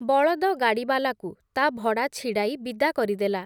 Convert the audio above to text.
ବଳଦଗାଡ଼ିବାଲାକୁ, ତା ଭଡ଼ା ଛିଡ଼ାଇ ବିଦା କରିଦେଲା ।